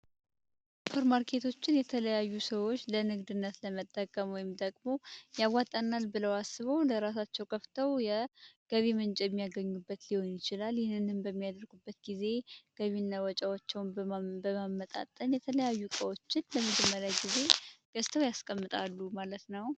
ፐርማርኬቶችን የተለያዩ ሰዎች ለእንግድነት ለመጠቀመ ወምም ደግሞ የአዋጣናል ብለው አስበው ለእራሳቸው ከፍተው የገቢምንጭ የሚያገኙበት ሊሆን ይችላል። ሊህንንንም በሚያደርጉበት ጊዜ ገቢነወጫዎቸውን በማመጣጠን የተለያዩ ቀዎችን ለፍድመለ ጊዜ ገስተው ያስቀምጣሉ ማለት ነው።